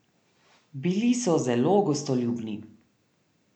Bili so zelo gostoljubni.